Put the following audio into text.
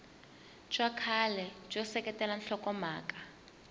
bya kahle byo seketela nhlokomhaka